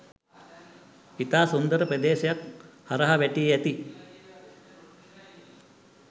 ඉතා සුන්දර ප්‍රදේශයක් හරහා වැටී ඇති